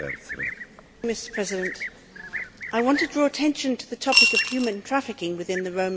Mr President, I want to draw attention to the topic of human trafficking within the Roma community.